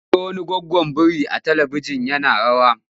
Mun ga wani goggon biri a talibijin yana rawa.